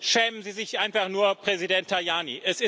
Schämen Sie sich einfach nur, Präsident Tajani!